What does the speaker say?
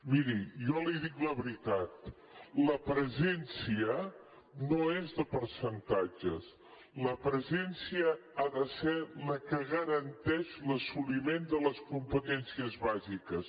miri jo li dic la veritat la presència no és de percentatges la presència ha de ser la que garanteix l’assoliment de les competències bàsiques